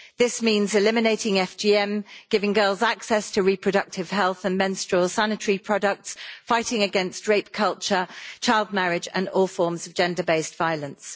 This means eliminating FGM, giving girls access to reproductive health and menstrual sanitary products, and fighting against rape culture, child marriage and all forms of gender based violence.